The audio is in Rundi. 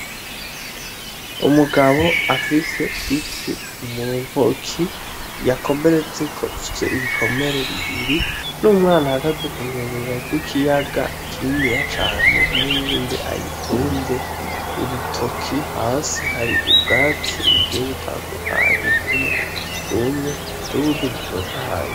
Umugabo afise ifi muntoki yakomeretseko ifis'ibikomere bibiri n'umwana ahagaze kunkengera z'ikiyaga kininiya cane n'uwundi ayitunze urutoki hasi hari ubwatsi bugiye butandukanye bumwe bwumye n'ubundi butotahaye.